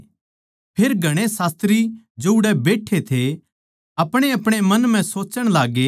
फेर घणे शास्त्री जो उड़ै बैठे थे अपणेअपणे मन म्ह सोच्चण लाग्गे